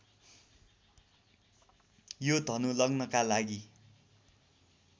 यो धनु लग्नका लागि